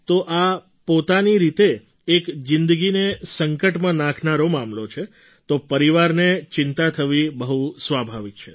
તો આ પોતાની રીતે એક જિંદગીને સંકટમાં નાખનારો મામલો છે તો પરિવારને ચિંતા થવી બહુ સ્વાભાવિક છે